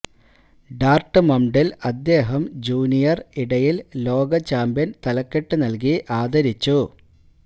Dortmund ൽ അദ്ദേഹം junior ഇടയിൽ ലോക ചാമ്പ്യൻ തലക്കെട്ട് നൽകി ആദരിച്ചു